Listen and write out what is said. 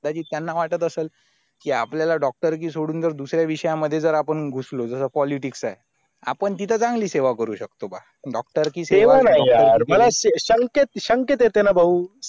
तरी त्यांना वाटत असाल कि आपल्याला doctor की सोडून तर दुसरा विषया मध्ये जर आपण घुसलो जसा politics आहे आपण तितच चांगली सेवा करू शकतो doctor ची सेवा सेवा नाही हा मला एक भाऊ